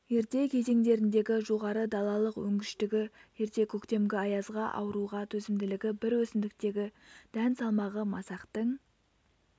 ерте кезеңдеріндегі жоғары далалық өнгіштігі ерте көктемгі аязға ауруға төзімділігі бір өсімдіктегі дән салмағы масақтың